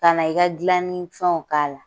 Ka na i ka gilannin fɛnw k'a la.